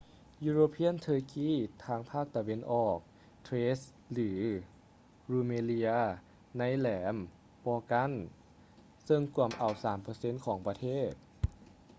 european turkey ພາກຕາເວັນອອກ thrace ຫຼື rumelia ໃນແຫຼມ balkan ເຊິ່ງກວມເອົາ 3% ຂອງປະເທດ